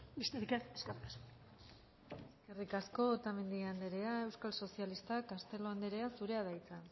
besterik ez eskerrik asko eskerrik asko otamendi anderea euskal sozialistak castelo anderea zurea da hitza